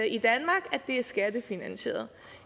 det er skattefinansieret